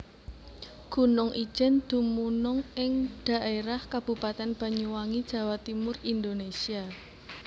Gunung Ijen dumunung ing dhaérah Kabupaten Banyuwangi Jawa Timur Indonésia